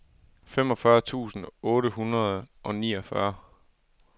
femogfyrre tusind otte hundrede og niogfyrre